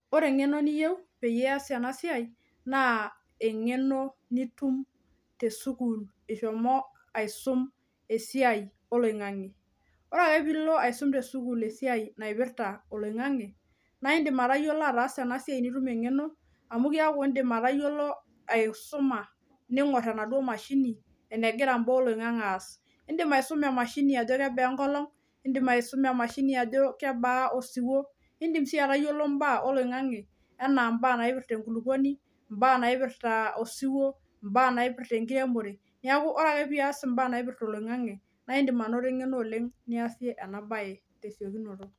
ore engeno niyieu peyie itumoki ataasa ena sai naa mpaka nishomo asium esai oloingange nitum engeno niyiolou mbaa naagira aasa tolingange anaa eneba enkolong, enkijape tenebo o kulie baa naapasha oloingange naa enetipat ina oleng neretisho sii